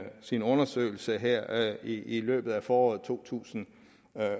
sin undersøgelse her i løbet af foråret to tusind